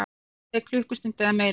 Þannig leið klukkustund eða meira.